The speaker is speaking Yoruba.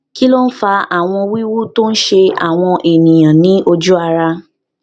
kí ló ń fa àwọn wiwu tó ń ṣe àwọn èèyàn ní oju ara